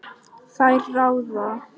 Þær ráða.